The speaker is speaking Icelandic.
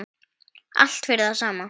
Allt fyrir það sama.